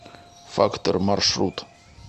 фактор маршрут